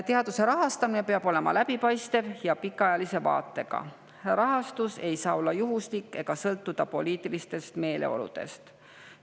Teaduse rahastamine peab olema läbipaistev ja pikaajalise vaatega, rahastus ei saa olla juhuslik ega sõltuda poliitilistest meeleoludest.